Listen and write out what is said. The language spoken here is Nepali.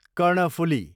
कर्णफुली